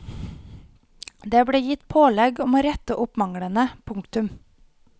Det ble gitt pålegg om å rette opp manglene. punktum